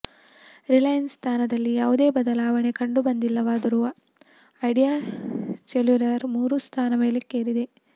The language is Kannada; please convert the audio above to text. ರಿಲಯನ್ಸ್ ಸ್ಥಾನದಲ್ಲಿ ಯಾವುದೇ ಬದಲಾವಣೆ ಕಂಡು ಬಂದಿಲ್ಲವಾದರೂ ಐಡಿಯಾ ಸೆಲ್ಯುಲರ್ ಮೂರು ಸ್ಥಾನ ಮೇಲಕ್ಕೇರಿದೆ